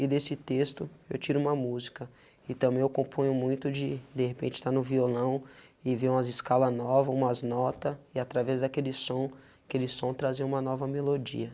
e desse texto eu tiro uma música e também eu componho muito de de repente estar no violão e vê umas escala nova, umas nota e através daqueles som, aquele som trazer uma nova melodia.